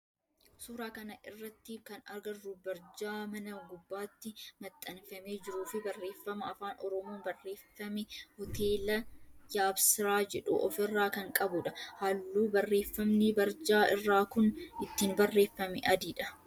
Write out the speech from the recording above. Suuraa kana irratti kan agarru barjaa mana gubbaatti maxxanfamee jiruu fi barreeffama afaan oromoon barreeffame hoteela Yeabsiraa jedhu of irraa kan qabudha. Halluu barreeffamni barjaa irraa kun ittiin barreeffame adiidha